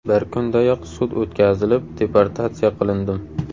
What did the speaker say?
Bir kundayoq sud o‘tkazilib, deportatsiya qilindim.